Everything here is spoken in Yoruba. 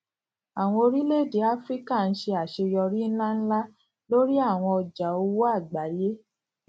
àwọn orílèèdè áfíríkà ń ṣe àṣeyọrí ńláǹlà lórí àwọn ọjà owó àgbáyé